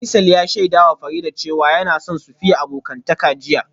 Faisal ya shaidawa Farida cewa yana son su fiye abokantaka jiya